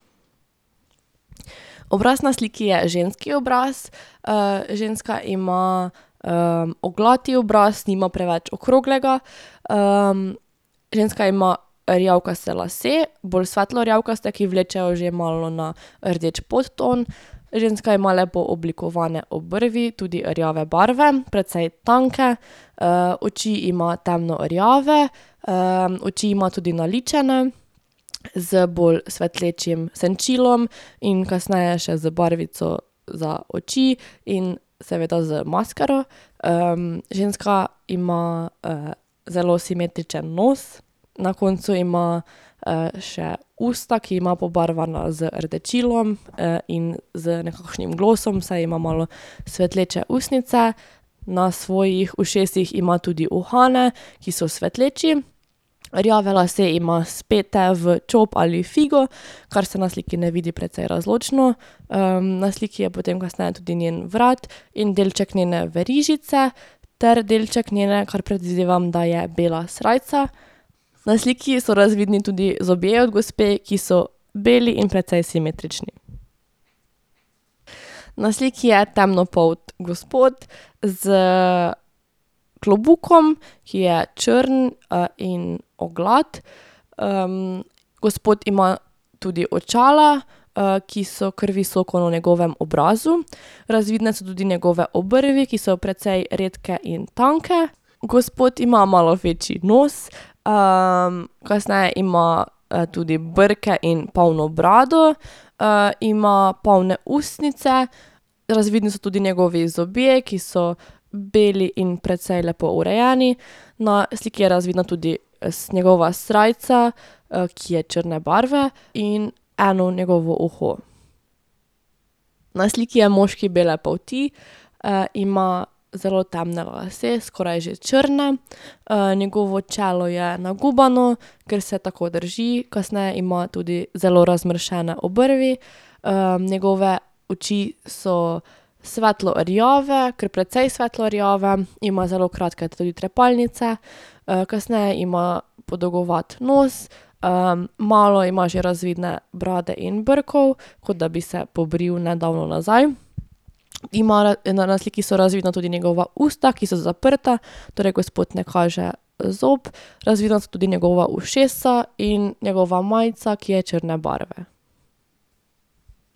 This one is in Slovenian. Obraz na sliki je ženski obraz. ženska ima oglat obraz, nima preveč okroglega. ženska ima rjavkaste lase, bolj svetlo rjavkaste, ki vlečejo že malo na rdeč podton. Ženska ima lepo oblikovane obrvi, tudi rjave barve, precej tanke. oči ima temno rjave. oči ima tudi naličene z bolj svetlečim senčilom in kasneje še z barvico za oči in seveda z maskaro. ženska ima, zelo simetričen nos, na koncu ima, še usta, ki ima pobarvana z rdečilom in, z nekakšnim glosom, saj ima malo svetleče ustnice. Na svojih ušesih ima tudi uhane, ki so svetleči. Rjave lase ima spete v čop ali figo, kar se na sliki ne vidi precej razločno. na sliki je potem kasneje tudi njen vrat in delček njene verižice ter delček njene, ker predvidevam, da je bila srajca. Na sliki so razvidni tudi zobje od gospe, ki so beli in precej simetrični. Na sliki je temnopolt gospod s klobukom, ki je črn, in oglat. gospod ima tudi očala, ki so kar visoko na njegovem obrazu. Razvidne so tudi njegove obrvi, ki so precej redke in tanke. Gospod ima malo večji nos, kasneje ima, tudi brke in polno brado. ima polne ustnice, razvidni so tudi njegovi zobje, ki so beli in precej lepo urejeni. Na sliki je razvidna tudi njegova srajca, ki je črne barve, in eno njegovo uho. Na sliki je moški bele polti. ima zelo temne lase, skoraj že črne. njegovo čelo je nagubano, ker se tako drži. Kasneje ima tudi zelo razmršene obrvi. njegove oči so svetlo rjave, kar precej svetlo rjave. Ima zelo kratke tudi trepalnice. kasneje ima podolgovat nos, malo ima že razvidne brade in brkov, kot da bi se pobril nedavno nazaj. Ima na sliki so razvidna tudi njegova usta, ki so zaprta. Torej gospod ne kaže zob. Razvidna so tudi njegova ušesa in njegova majica, ki je črne barve.